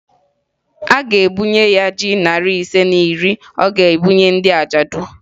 A ga-ebunye ya ji narị ise na iri ọ ga-ebunye ndị ajadụ